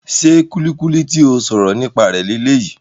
Ṣe kulikuli ti o sọrọ nípa rẹ leyii?